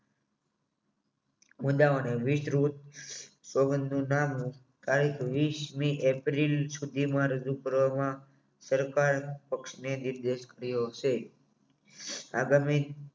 અને વિસ્તૃત સોગંદ નાનો થાય તો વિસમી એપ્રિલ સુધીમાં રજૂ કરવામાં સરકાર પક્ષને નિર્દેશ કર્યો છે આગામી